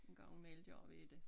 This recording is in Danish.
En gang i mellem gør vi det